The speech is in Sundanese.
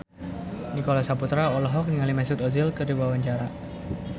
Nicholas Saputra olohok ningali Mesut Ozil keur diwawancara